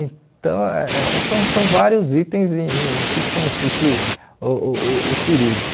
Então, eh são são vários itens em em que consiste uh uh o turismo.